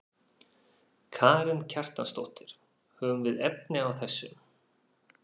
Karen Kjartansdóttir: Höfum við efni á þessu?